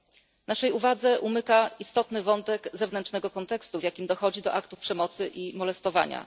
Tymczasem naszej uwadze umyka istotny wątek zewnętrznego kontekstu, w jakim dochodzi do aktów przemocy i molestowania.